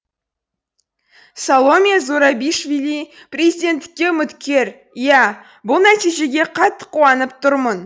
саломе зурабишвили президенттікке үміткер иә бұл нәтижеге қатты қуанып тұрмын